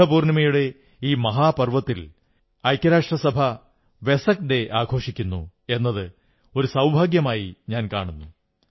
ബുദ്ധപൂർണ്ണിമയുടെ ഈ മഹാപർവ്വത്തിൽ ഐക്യരാഷ്ട്രസഭ വെസക് ഡേ ആഘോഷിക്കുന്നു എന്നത് ഒരു സൌഭാഗ്യമായി ഞാൻ കാണുന്നു